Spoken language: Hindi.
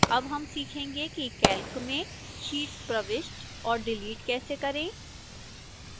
अब हम सीखेंगे कि calc में sheets प्रविष्ट और डिलीट कैसे करें